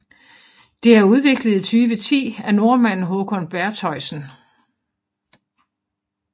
Det er udviklet i 2010 af nordmanden Håkon Bertheussen